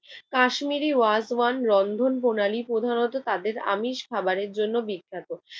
কাশ্মীরি ওয়ার্থ ওয়ান রন্ধন প্রণালী প্রধানত তাদের আমিষ খাবারের জন্য বিখ্যাত।